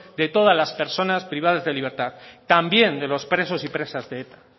de todas las personas privadas de libertad también de los presos y presas de eta